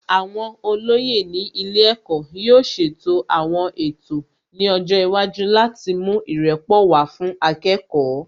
Àwọn olóyè ní ilé ẹ̀kọ́ yóò ṣètò àwọn ètò ní ọjọ́ iwájú láti mú ìrẹ́pọ̀ wá fún akẹ́kọ̀ọ́